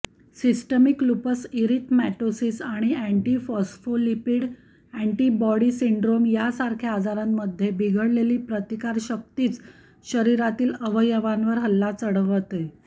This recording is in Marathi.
सिस्टमिक लुपस इरिथमॅटोसीस आणि अॅण्टीफॉस्फोलिपीड अॅण्डीबॉटी सिंड्रोम यासारख्या आजारांमध्ये बिघडलेली प्रतिकारशक्तीच शरीरातील अवयावांवर हल्ला चढवलं